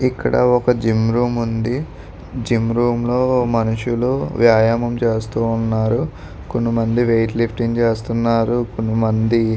ఇక్కడ ఒక gym room ఉంది. జిమ్ రూమ్ లో మనుషులు వ్యాయామం చేస్తూ ఉన్నారు. కొంత మంది వెయిట్ లిఫ్టింగ్ చేస్తున్నారు. కొంతమంది --